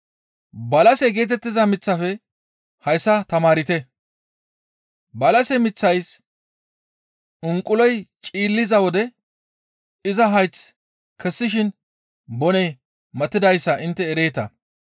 «Balase geetettiza miththafe hayssa tamaarte; balase miththays unquloy cililiza wode iza hayth kessishin boney matidayssa intte ereeta.